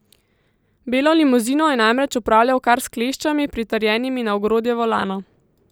Belo limuzino je namreč upravljal kar s kleščami, pritrjenimi na ogrodje volana.